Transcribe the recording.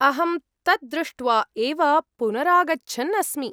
अहं तत् दृष्ट्वा एव पुनरागच्छन् अस्मि।